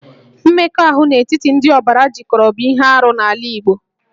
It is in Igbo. Mmekọahụ n'etiti ndị ọbara jikọrọ bụ ihe arụ n'ala Igbo